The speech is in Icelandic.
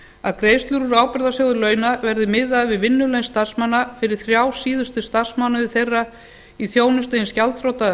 að greiðslur úr ábyrgðasjóð launa verði miðaðar við vinnulaun starfsmanna fyrir þrjá síðustu starfsmánuði þeirra í þjónustu hins gjaldþrota